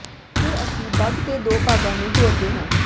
ਫਿਰ ਅਸੀਂ ਬੱਗ ਦੇ ਦੋ ਭਾਗਾਂ ਨੂੰ ਜੋੜਦੇ ਹਾਂ